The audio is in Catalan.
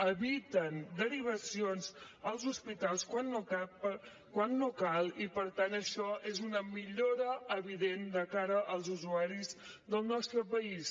eviten derivacions als hospitals quan no cal i per tant això és una millora evident de cara als usuaris del nostre país